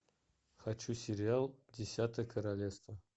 хочу сериал десятое королевство